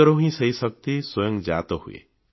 ଭିତରୁ ହିଁ ସେହି ଶକ୍ତି ସ୍ୱୟଂ ଜାତ ହୁଏ